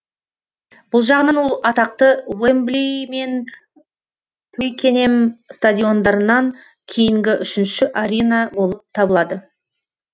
бұл жағынан ол атақты уэмбли мен туикенем стадиондарынан кейінгі үшінші арена болып табылады